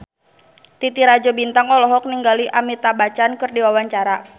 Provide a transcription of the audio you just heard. Titi Rajo Bintang olohok ningali Amitabh Bachchan keur diwawancara